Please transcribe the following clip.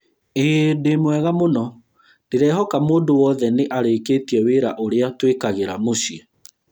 ĩĩ ndĩmwega mũno, ndĩrehoka mũndũ wothe nĩ arĩkĩtie wĩra ũrĩa twĩkagĩra mũciĩ